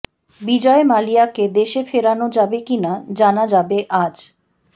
বিজয় মালিয়াকে দেশে ফেরানো যাবে কিনা জানা যাবে আজ